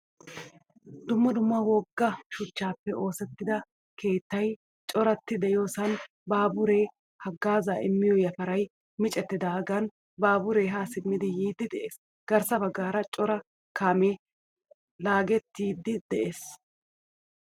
Dumma dumma wogga shuchchappe oosettida keettay corati de'iyosan baabure hagggazza immiyaa yafaray miccettidagan baabure ha simmidi yiidi de'ees. Garssa baggaara cora kaame laagettiyagee de'ees.